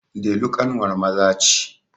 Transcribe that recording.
Delu ƙanwar Maza ce.